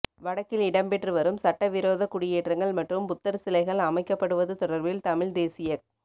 வடக்கில் இடம்பெற்றுவரும் சட்டவிரோத குடியேற்றங்கள் மற்றும் புத்தர் சிலை கள் அமைக்கப்படுவது தொடர்பில் தமிழ்த் தேசியக்